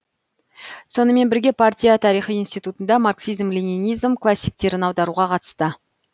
сонымен бірге партия тарихы институтында марксизм ленинизм классиктерін аударуға қатысты